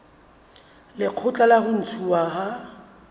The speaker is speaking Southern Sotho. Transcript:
lekgotla la ho ntshuwa ha